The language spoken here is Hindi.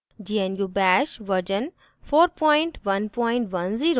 * gnu bash version 4110